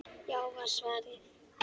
Já var svarið.